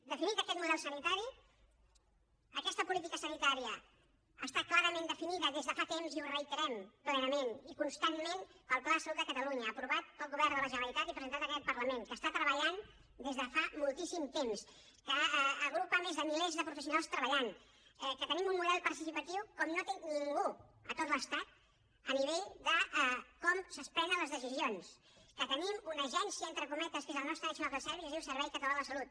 definit aquest model sanitari aquesta política sanitària està clarament definida des de fa temps i ho reiterem plenament i constantment pel pla de salut de catalunya aprovat pel govern de la generalitat i presentat en aquest parlament que està treballant des de fa moltíssim temps que agrupa a més de milers de professionals treballant que tenim un model participatiu com no té ningú a tot l’estat a nivell de com es prenen les decisions que tenim una agència entre cometes que és el nostre national health service que es diu servei català de la salut